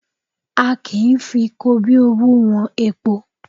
A kì í fi kobíowú wọn epo